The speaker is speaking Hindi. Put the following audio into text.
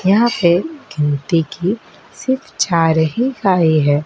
यहा पे घिन देखिये सिर्फ चार ही खाई है।